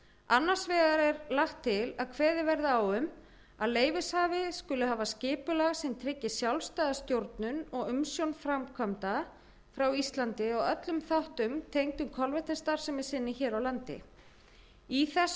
annars vegar er lagt til að kveðið verði á um að leyfishafi skuli hafa skipulag sem tryggir sjálfstæða stjórnun og umsjón framkvæmda frá íslandi á öllum þáttum tengdum kolvetnisstarfsemi sinni hér á landi í þessu